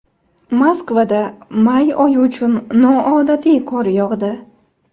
Moskvada may oyi uchun noodatiy qor yog‘di.